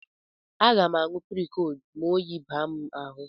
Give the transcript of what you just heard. Aga m aṅụ Prokod ma oyi baa m ahụ